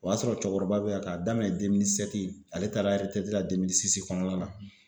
O y'a sɔrɔ cɛkɔrɔba be yan ka daminɛ ale taara la kɔnɔna la.